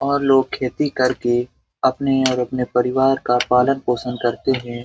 और लोग खेती करके अपने और अपने परिवार का पालन पोषण करते हैं।